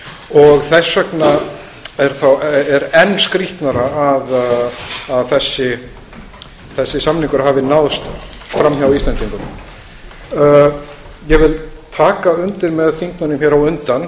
og þess vegna er enn skrýtnara að þessi samningur hafði náðst fram hjá íslendingum ég vil taka undir með þingmönnum hér á undan